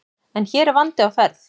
En hér er vandi á ferð.